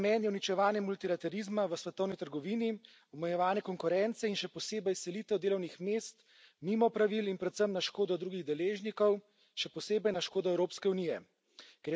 Njen namen je uničevanje multilaterizma v svetovni trgovini, omejevanje konkurence in še posebej selitev delovnih mest mimo pravil in predvsem na škodo drugih deležnikov, še posebej na škodo Evropske unije.